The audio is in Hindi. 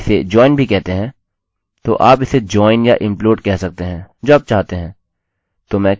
तो आप इसे join या implode कह सकते हैं जो आप चाहते हैं